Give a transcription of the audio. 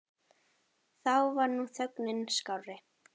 Þá var nú þögnin skárri.